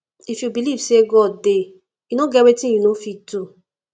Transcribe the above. if you believe say god dey e no get anything wey you no go fit do